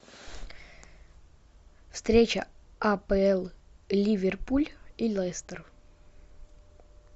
встреча апл ливерпуль и лестер